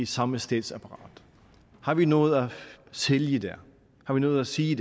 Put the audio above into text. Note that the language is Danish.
samme statsapparat har vi noget at sælge der har vi noget at sige